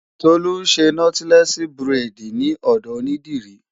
Tolú ń ṣe Nọ́tílẹ́ẹ̀sì buredì ní ọ̀dọ̀ onídìrí.